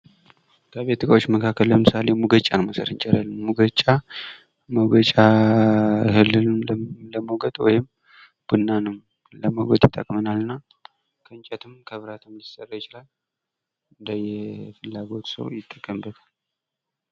ከቤት እቃዎች መካከል ለምሳሌ ሙገጫ መውሰድ እንችላለን ።ሙቀጫ እህልን ለመውገጥ ወይም ቡናንም ለመውገጥ ይጠቅመናልና ከእንጨትም ከብረትም ሊሰራ ይችላል እንደየፍላጎቱ ሰው ሊጠቀሙበት ይችላል።